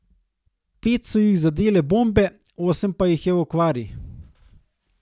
Pet so jih zadele bombe, osem pa jih je v okvari.